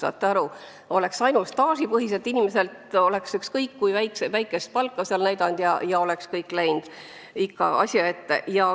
Pension oleks arvestatud ainult staažipõhiselt, inimesed oleks ükskõik kui väikest palka näidanud ja kõik oleks nagu korras olnud.